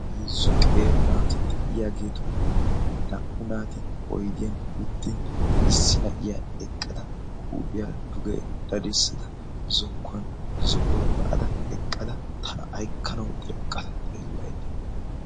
heezzu qeera naati de'iyaageetuppe naa''u naati oidiyan uttin issi na'iya eqqada huuphiyaa duge dadissada zokkuwan zo'uwaa ba'ada eqqada tana aykkanawu dereqqada xeellay